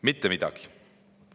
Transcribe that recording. Mitte midagi!